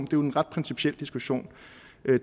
jo en ret principiel diskussion